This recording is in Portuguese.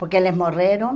Porque eles morreram